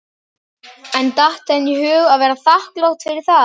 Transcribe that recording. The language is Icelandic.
En datt henni í hug að vera þakklát fyrir það?